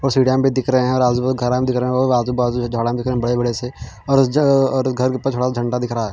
और सीढ़ियां भी दिख रहे हैं और आजु-बाजु घरां दिख रहे है और आजु-बाजु झाडां भी दिख रहे हैं बड़े-बड़े से और उस जगह और घर पर झंडा दिख रहा है।